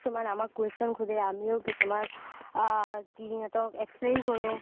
কিছুমান আমাক question সুধে আমিও কিছুমান আ সিহতক explain কৰো